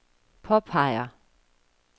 påpeger